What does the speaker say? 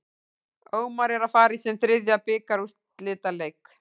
Ómar er að fara í sinn þriðja bikarúrslitaleik.